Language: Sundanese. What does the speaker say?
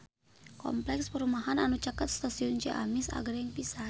Kompleks perumahan anu caket Stasiun Ciamis agreng pisan